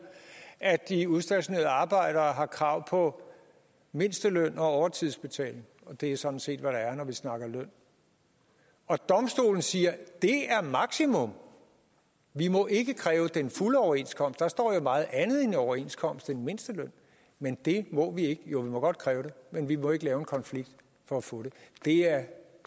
at de udstationerede arbejdere har krav på mindsteløn og overtidsbetaling og det er sådan set hvad der er når vi snakker løn og domstolene siger det er maksimum vi må ikke kræve den fulde overenskomst der står jo meget andet i en overenskomst end mindsteløn men det må vi ikke jo vi må godt kræve det men vi må ikke lave en konflikt for at få det det er